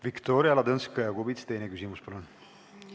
Viktoria Ladõnskaja-Kubits, teine küsimus, palun!